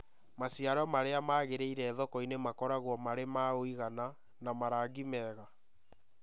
Maciaro marĩa magĩrĩire thoko-inĩ makoragwo marĩ ma ũigana na marangi mega.